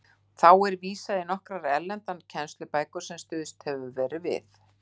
Þá er og vísað í nokkrar erlendar kennslubækur, sem stuðst hefur verið við.